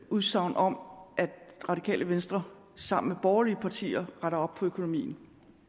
udsagn om at radikale venstre sammen med borgerlige partier retter op på økonomien